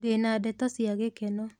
Ndĩna ndeto cia gĩkeno.